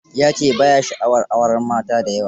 Ya ce ba ya sha'awar auren mata da yawa.